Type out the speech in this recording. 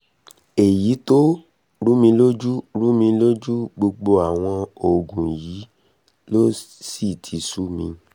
èyí tó rúmi lójú rúmi lójú gbogbo àwọn òògùn yìí ló sì ti sú mi